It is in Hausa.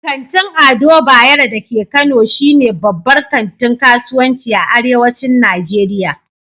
Kantin Ado Bayero da ke Kano shi ne babbar kantin kasuwanci a arewacin Nijeriya